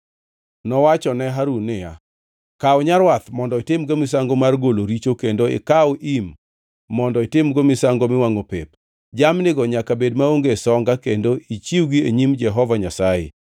Nowacho ne Harun niya, “Kaw nyarwath mondo itimgo misango mar golo richo kendo ikaw im mondo itimgo misango miwangʼo pep, jamnigo nyaka bed maonge songa kendo ichiwgi e nyim Jehova Nyasaye.